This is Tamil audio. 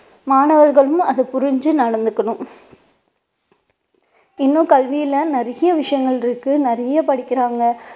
மாணவர்களும் அதை புரிஞ்சு நடந்துக்கணும் இன்னும் கல்வியில நிறைய விஷயங்கள் இருக்கு நிறைய படிக்கிறாங்க